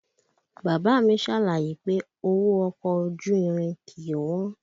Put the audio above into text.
Bàbá a mi ṣàlàyé pé owó ọkọ̀ ojú irin kìí wọ́n